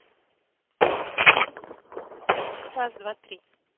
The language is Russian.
раз два три